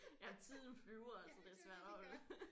Jamen tiden flyver altså det er svært at holde